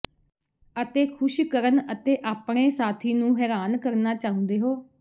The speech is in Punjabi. ਅਤੇ ਖ਼ੁਸ਼ ਕਰਨ ਅਤੇ ਆਪਣੇ ਸਾਥੀ ਨੂੰ ਹੈਰਾਨ ਕਰਨਾ ਚਾਹੁੰਦੇ ਹੋ